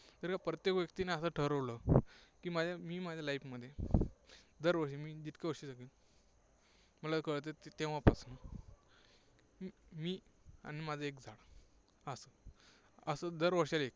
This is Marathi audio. जर का प्रत्येक व्यक्तीने असं ठरवलं की, मी माझ्या life मध्ये दरवर्षी, म्हणजे जितकी वर्षे जगेन, मला कळतंय तेव्हापासून, मी आणि माझं एक झाड, असं, असं दरवर्षाला एक.